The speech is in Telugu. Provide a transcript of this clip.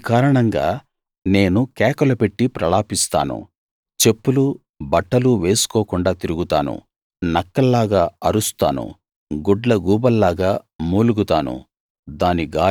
ఈ కారణంగా నేను కేకలు పెట్టి ప్రలాపిస్తాను చెప్పులూ బట్టలూ వేసుకోకుండా తిరుగుతాను నక్కల్లాగా అరుస్తాను గుడ్లగూబల్లాగా మూలుగుతాను